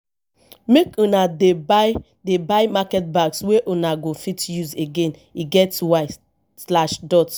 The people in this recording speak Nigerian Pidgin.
make una dey buy dey buy market bags wey una go fit use again e get why.